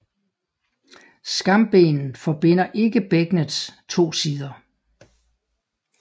Skambenet forbinder ikke bækkenets to sider